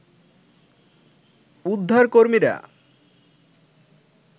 উদ্ধার কর্মীরা